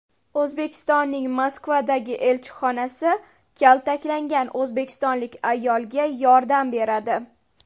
O‘zbekistonning Moskvadagi elchixonasi kaltaklangan o‘zbekistonlik ayolga yordam beradi .